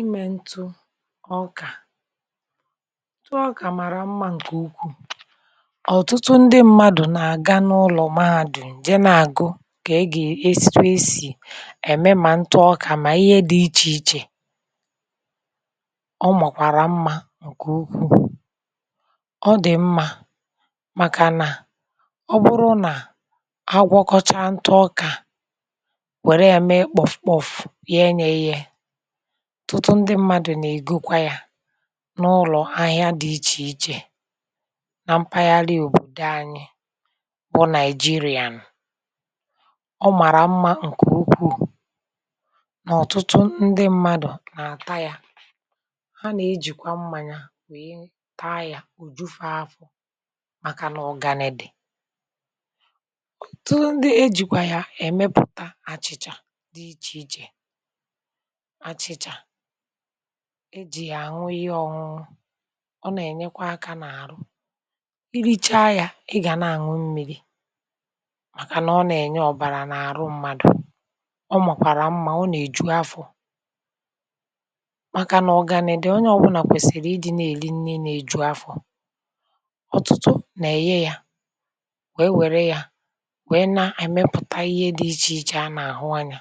Imė ntụ ọkà. Ntụ ọkà màrà mmȧ ǹkè ukwuù. ọ̀tụtụ ndị mmadụ̀ nà-àga n’ụlọ̀ mahadù jee nà-àgụ kà e gà-esì esì ème mà ntụ ọkà mà ihe dị̇ ichè ichè. O makwàrà mmȧ ǹkè ukwuù. ọ dị̀ mmȧ màkà nà ọ bụrụ nà agwọkọchà ntụ ọkà, were ya mee kpofukpofu yee ya eghe, otụtụ ndị mmadụ̀ nà-ègokwa yȧ n’ụlọ̀ ahịa dị̇ ichè ichè na mpaghara lii òbòdò anyị bụ nàị̀jịrị̀an. ọ màrà mmȧ ǹkè ukwuù nà ọ̀tụtụ ndị mmadụ̀ nà-àta ya, ha nà-ejìkwa mmȧnya wee taa ya òjufa afọ màkà nà ugani di. Otụtụ ndị ejìkwa ya èmepùta achị̀cha dị ichè ichè, achịcha, ejì ya aṅụ ihe ọṅụṅụ, ọ nà-ènyekwa akȧ n’àrụ, irichaa yȧ ị gà na-ànụ mmi̇ri màkà nà ọ nà-ènye ọ̀bàrà n’àrụ mmadụ̀, ọ makwàrà mmȧ, o nà-èju afọ̀ màkà nà ugàni di, onye ọbụlà kwèsìrì ịdị̇ nà-èli nni nà-èju afọ̀. Otụtụ nà-èghe yȧ wee wère yȧ wee na àyị mepụ̀ta ihe dị ichè ichè a nà-àhụ anyȧ,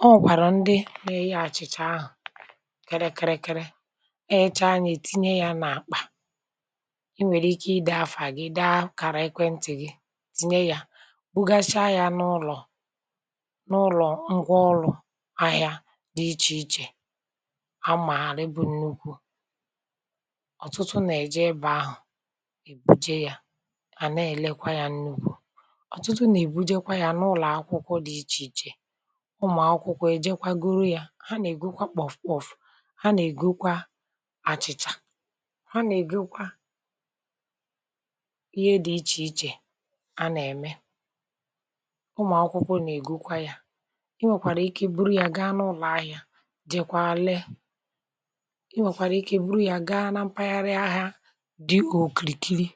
o nwekwara ndi ne -eghe àchịchà ahụ̀ kiri kiri kiri, eghecha ya tinye ya n’àkpà, i nwèrè ike ide afà gị dee akàrà ekwentị̀ gị tinye ya bughasha ya n’ụlọ̀ n’ụlọ̀ ngwa ọlụ̇ ahịa dị ichè ichè a màarị bụ̇ru nnukwu ibu, ọ̀tụtụ nà-eje ebe ahụ̀ bujee ya, à na-elekwa ya nnukwu, ọ̀tụtụ nà-ebujekwa ya n’ụlọ̀ akwụkwọ dị ichè ichè, ụmụ akwụkwọ ejekwa goro ya, ha ànà-ègokwa kpofukpofu, ha na -egokwa àchị̀chà, ha nà-ègokwa ihe dị̀ ichè ichè anà-ème, ụmụ̀akwụkwọ nà-ègokwa ya, i nwèkwàrà ike buru ya gaa n’ụlọ̀ ahịa jeekwa lee, i nwèkwàrà ike buru ya gaa na mpaghara ahia dịkà òkìkiri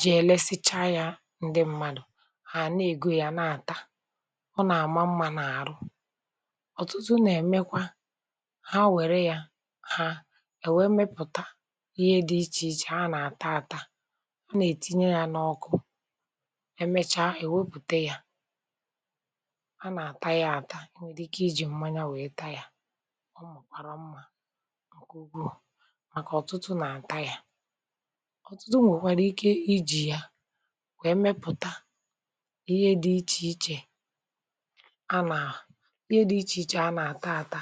jee lesicha ya ǹdị m̀madụ̇, ha ànà-ègo ya na-àta, Ona-ama mma n'aru, ọtụtụ na-emekwa ha nwère ya ha è wẹ̀ẹ mepụ̀ta ihe dị ichè ichè ha nà-àta àta, ha nà-ètinye ya n’ọkụ, ẹmẹcha è wepùte ya, ha nà-àta ya àta, enwèrè ike iji̇ mmanya wèe taa ya, ọ marà mmȧ màkà ọ̀tụtụ nà-àta ya, ọ̀tụtụ nwèkwara ike ijì ya wèe mepụ̀ta ihe dị ichè ichè a na-ata ata,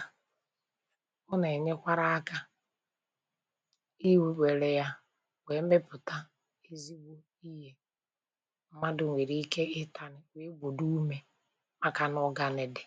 ọ nà-ènyekwara aka iwekwère ya wèe mepụ̀ta ezigbo ihe m̀madụ̀ nwèrè ike ị tànu wèe gbòdò ume maka n’ugane dị.